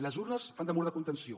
les urnes fan de mur de contenció